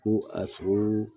Ko a sogo